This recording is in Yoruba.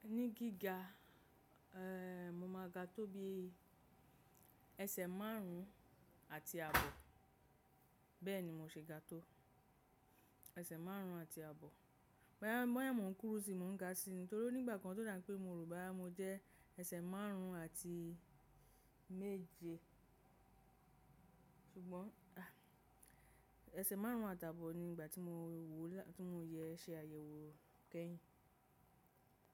Ní gíga, eh, mo máa ga tó bí i ẹsẹ̀ márùn-ún àti àbọ̀. Bẹ́ẹ̀ ni mo se ga tó, ẹsẹ̀ márùn-ún àti àbọ̀. Boya'boyà mọ̀ ń kúrú sí i, mọ̀ ń ga sí i nítorí ní ìgbà kan tó dà ń pé mo rù bá, mo jẹ́ ẹsẹ̀ márùn-ún àti méje. Ṣùgbọ́n ẹsẹ̀ márùn-ún àti àbọ̀ ni ìgbà tí mo wò ó lá-- tí mo yẹ ṣe àyẹ̀wò kẹ́yìn.